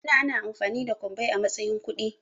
Da ana amfani da kwabbai a matsayin kuɗi